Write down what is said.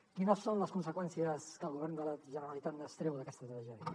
quines són les conseqüències que el govern de la generalitat n’extreu d’aquesta tragèdia